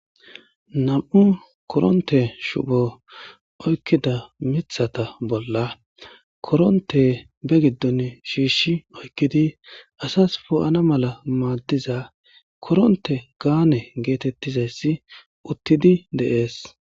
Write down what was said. Nam7u koronte shupho oykkida mithata bolla koronte be giddon shiishshi oykkidi asas poo7ana mala maaddiza koronte gaane geetettizayssi uttidi deees.